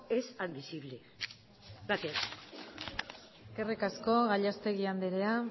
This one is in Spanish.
es admisible gracias eskerrik asko gallastegui andrea